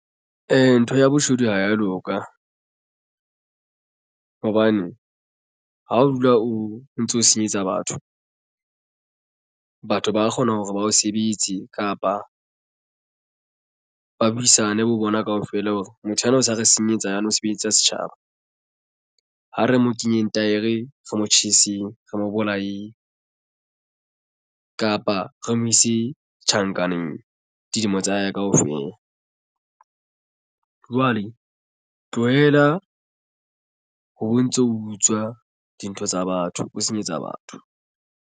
Ntho ya boshodu ha ya loka hobane ha o dula o ntso senyetsa batho. Batho ba kgona hore ba o sebetse kapa ba buisane bo bona kaofela hore motho enwa o sa re senyetsa yane mosebetsi ya setjhaba. Ha re mo kenyeng taere re motjheseng re mo bolayeng kapa re mo ise tjhankaneng dilemo tsa hae kaofela. Jwale tlohela ho ntso ho utswa dintho tsa batho o senyetsa batho.